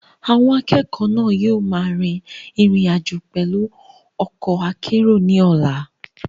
Àwọn akẹ́kọ̀ọ́ náà yóò máa rin ìrìn àjò pẹ̀lú ọkọ̀ akérò ní ọ̀la.